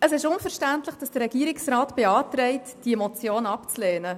Es ist unverständlich, wenn der Regierungsrat beantragt, diese Motion abzulehnen.